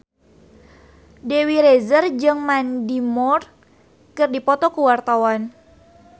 Dewi Rezer jeung Mandy Moore keur dipoto ku wartawan